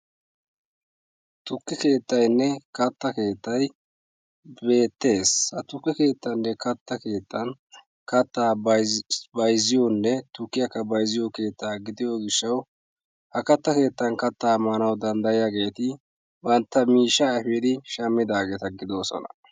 tukke keettay beettees. tukkiya Tiransporttiyan caanidi kaamiyara yoosona. ha asati cadiidi de'iyo koyro tokketidaagee de'iyo koyro go'iya gididi demmidaageeta gidoosona.